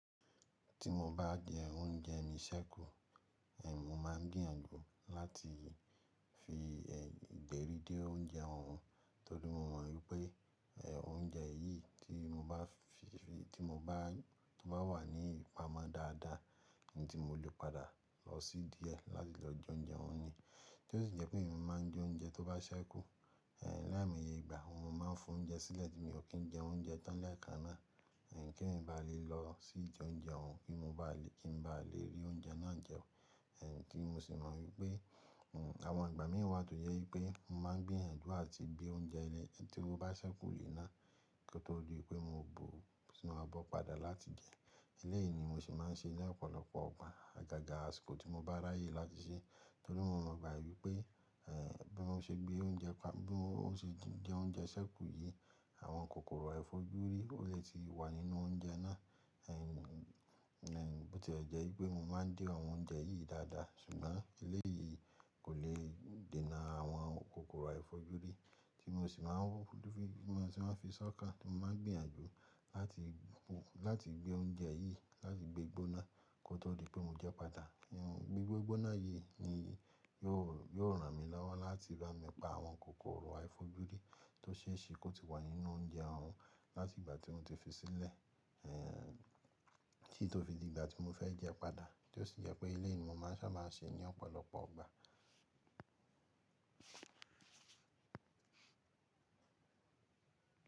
Tí mo bá jẹ oúnjẹ mi sẹ́kù, mo máa ń gbìyànjú láti fi ìdérí dé oúnjẹ ọ̀hún torí mo mọ̀ wípé oúnjẹ yìí tí mo bá fi, tí o bá wà ní ìpamọ́ dáadáa ni tí mo lè padà lọ sí díẹ̀ láti lọ jẹ oúnjẹ ọ̀hún ni. Tí ó sì jẹ́ pé èmi máa ń de oúnjẹ tó bá ṣẹ́kù laimoyegbà, mo máa ń fi oúnjẹ sílẹ̀ tí mi ò kí ń jẹ oúnjẹ tán leekanáà kí èmi bá lè lọ sí jẹ oúnjẹ ọ̀hún kí n ba lè rí oúnjẹ náà jẹun. Tí mo sì mọ wípé àwọn ìgbà mí wá tó jẹ́ wípé mo máa ń gbìyànjú láti gbé oúnjẹ eléyìí tí ó bá ṣẹ́kù lè náà kó tó di pé mo bu sinú abo padà láti jẹ. Eléyìí ni mo sì máa ń ṣe ní ọ̀pọ̀lọpọ̀ igbà, àgàgà àsìkò tí mo bá ráyè láti ṣe torí mo mọ̀ báyìí pé bí mo ṣe gbé oúnjẹ pa-- bí mo ṣe jẹ oúnjẹ ṣẹ́kù yìí, àwọn kòkòrò àìfojúrí ó lè ti wà nínú oúnjẹ náà. Bó ti e jẹ́ wípé mo máa ń de àwọn oúnjẹ yìí dáadáa ṣùgbọ́n eléyìí kò lè dènà àwọn kòkòrò àìfojúrí tí mo sì máa ń fi ṣọ́kàn, tí mo máa ń gbìyànjú láti gbé oúnjẹ yìí láti gbé gbóná kó tó di pé mo jẹ́ padà. Gbigbe gbóná yìí ni yóò ràn mí lọ́wọ́ láti bá mi pa àwọn kòkòrò àìfojúrí tó ṣe é ṣe kó ti wà nínú oúnjẹ ọ̀hún láti ìgbà tí mo ti fi sílẹ̀ títí ó fi di ìgbà tí mo fẹ́ jẹ́ padà tí ó sì jẹ́ pé eléyìí ni mo sábà máa ń ṣe ní ọ̀pọ̀lọpọ̀ igbà.